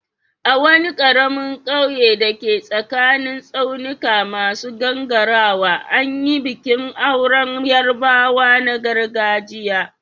A wani karamin kauye da ke tsakanin tsaunuka masu gangarawa, an yi bikin auren Yarbawa na gargajiya.